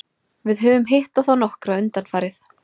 Við höfum hitt á þá nokkra undanfarið.